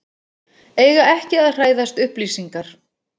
Eiga ekki að hræðast upplýsingar